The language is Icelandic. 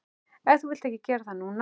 En þú vilt ekki gera það núna.